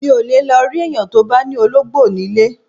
Mi ò lè lọ rí èèyàn tó bá ní olóńgbò nílé